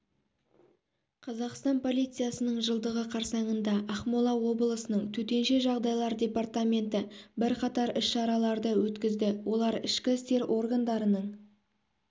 қазақстан полициясының жылдығы қарсаңында ақмола облысының төтенше жағдайлар департаменті бірқатар іс-шараларды өткізді олар ішкі істер органдарының